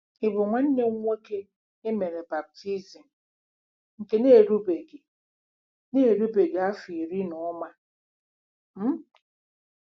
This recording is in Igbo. Ị̀ bụ nwanna nwoke e mere baptizim nke na-erubeghị na-erubeghị afọ iri na ụma? um